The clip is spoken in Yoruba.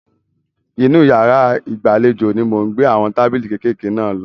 Inú yàrá ìgbàlejò ni mò ń gbé àwọn tábìlì kékèké náà lọ.